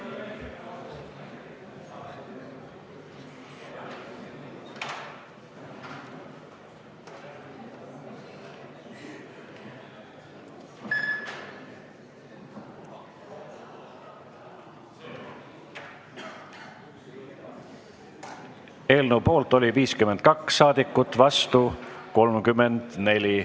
Hääletustulemused Eelnõu poolt oli 52 saadikut, vastu 34.